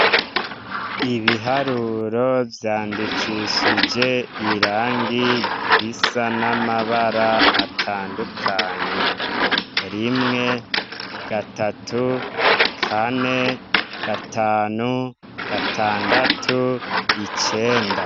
Ibiharuro vyandikishe irangi risa n' amabara atandukanye rimwe gatatu kane gatanu gatandatu icenda.